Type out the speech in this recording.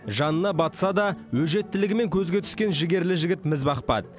жанына батса да өжеттілігімен көзге түскен жігерлі жігіт міз бақпады